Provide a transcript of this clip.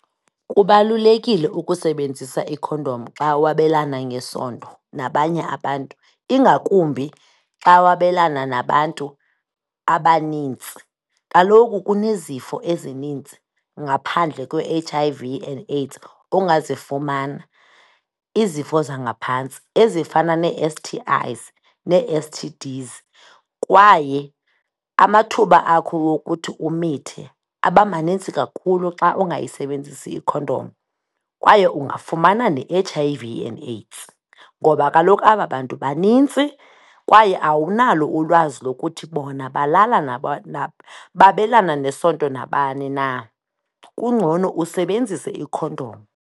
Kubalulekile ukusebenzisa ikhondom xa wabelana ngesondo nabanye abantu ingakumbi xa wabelana nabantu abanintsi. Kaloku kunezifo ezinintsi, ngaphandle kwe-H_I_V and AIDS ongazifumana, izifo zangaphantsi ezifana nee-S_T_Is nee-S_T_Ds. Kwaye amathuba akho wokuthi umithe, aba manintsi kakhulu xa ungayisebenzisi ikhondom kwaye ungafumana ne-H_I_V and AIDS, ngoba kaloku aba bantu banintsi kwaye awunalo ulwazi lokuthi bona balala babelana nesonto nabani na. Kungcono usebenzise ikhondom.